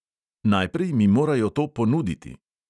"Najprej mi morajo to ponuditi."